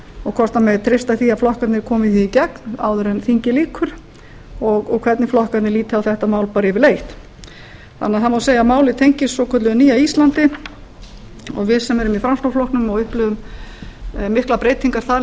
og hvort það megi treysta því að flokkarnir komi því í gegn áður en þingi lýkur og hvernig flokkarnir líti á þetta mál bara yfirleitt það má því segja að málið tengist svokölluðu nýja íslandi og við sem erum í framsóknarflokknum og upplifum miklar breytingar þar